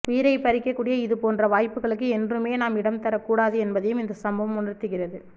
உயிரை பறிக்கக்கூடிய இதுபோன்ற வாய்ப்புகளுக்கு என்றுமே நாம் இடம் தரக்கூடாது என்பதையும் இந்த சம்பவம் உணர்த்துகிறது